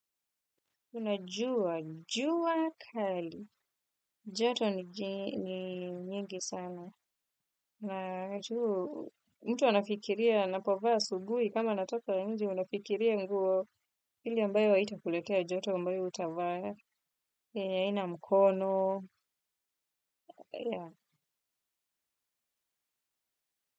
Unajua, jua kali. Joto ni nyingi sana. Unajua, mtu anafikiria anapovaa asubuhi kama anatoka nje. Unafikiria nguo ile ambayo haitakuletea joto ambayo utavaa. Yenye haina mkono.